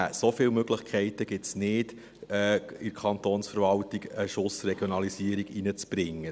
So viele Möglichkeiten gibt es nicht, in die Kantonsverwaltung einen Schuss Regionalisierung zu bringen.